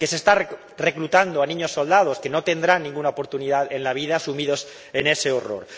que se está reclutando a niños soldados, que no tendrán ninguna oportunidad en la vida sumidos en ese horror.